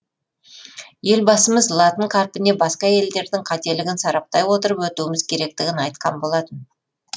елбасымыз латын қарпіне басқа елдердің қателігін сараптай отырып өтуіміз керектігін айтқан болатын